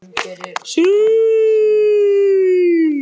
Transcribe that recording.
En hvað skildi Willum eiginlega hafa sagt?